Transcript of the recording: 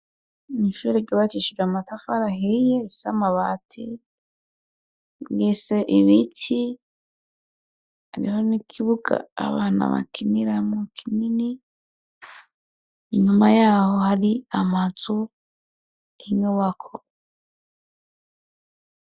Ni ishure ryubakishije amatafari ahiye rifise amabati mwise ibiti hariho n' ikibuga abana bakiniramwo kinini inyuma yaho hari amazu y' inyubakwa.